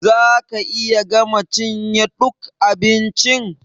Za ka iya gama cinye ɗuk abincin?